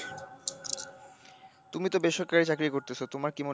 তুমি তো বেসরকারি চাকরি করতাছো তোমার কি মনে,